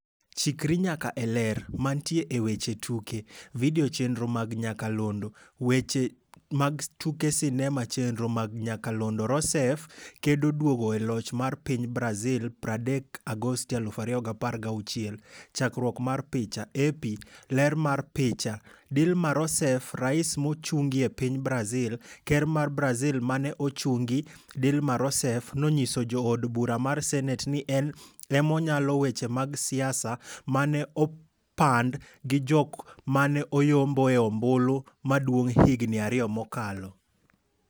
Chikri nyaka e Ler. Mantie e weche tuke. Video chenro mag nyakalondo. Weche mag tuke sinema chenro mag nyakalondo Rousseff kedo duogo e loch mar piny Brazil 30 Agosti 2016 .Chakruok mar picha, AP. Ler mar picha, Dilma Rousseff rais nochungie piny Brazil. Ker mar Brazil mane osechungi, Dilma Rousseff, nonyiso jo od bura mar senet ni en emonyalo weche mag siasa, mane opand gi jok mane oyomboe ombulu maduong' higni ariyo mokalo.